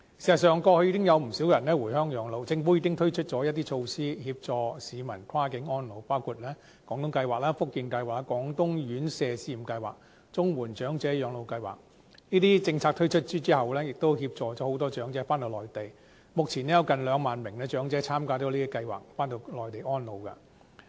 事實上，過去已經有不少人回鄉養老，政府已經推出措施協助市民跨境安老，包括廣東計劃、福建計劃、廣東院舍住宿照顧服務試驗計劃及綜援長者廣東及福建省養老計劃，這些政策推出後，協助了很多長者返回內地，目前有近兩萬名長者參加這些計劃，回內地安老。